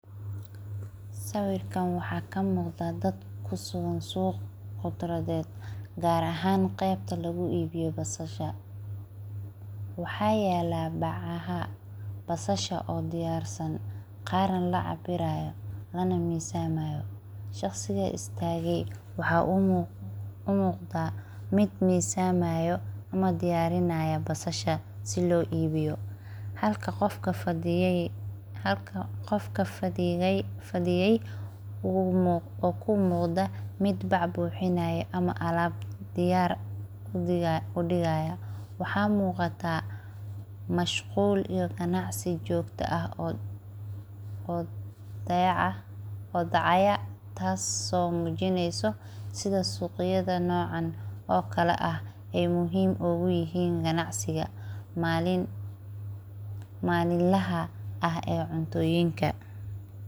Sawirkan waxaa ka muuqda daad ku sugan suuq qudaaraat, gaar ahaan qaybta lagu iibiyo basasha. Waxaa yaalla bacaha basasha oo diyaarisan, qaarna la cabbirayo lana miisamayo. Shaqsiga istaagsan wuxuu u muuqdaa mid miisamayo ama diyaarinta basasha sii loo iibiyo. Halka qof ka fadhiyey u muuqdo mid baac buuxinayo ama alaab diyaar u dhigayo. Waxaana muuqda mashquul iyo ganacsi jooga ah oo dhacayo, taas oo muujinayso sida suuqyadan noocan oo kale ah ay muhiim ugu yihiin ganacsiga maalinlaha ee cuntooyinka.